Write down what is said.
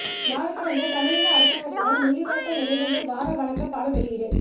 நாடுகடந்த தமிழீழ அரசாங்கத்தினால் முள்ளிவாய்க்கால் நினைவேந்தல் வார வணக்க பாடல் வெளியீடு